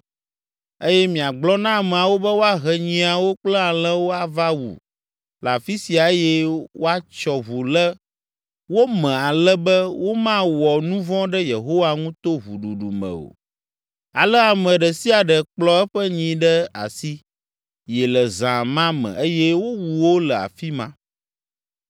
eye miagblɔ na ameawo be woahe nyiawo kple alẽwo ava wu le afi sia eye woatsyɔ ʋu le wo me ale be womawɔ nu vɔ̃ ɖe Yehowa ŋu to ʋuɖuɖu me o.” Ale ame ɖe sia ɖe kplɔ eƒe nyi ɖe asi yi le zã ma me eye wowu wo le afi ma.